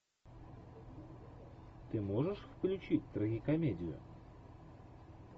ты можешь включить трагикомедию